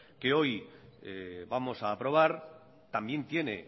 que hoy vamos a aprobar también tiene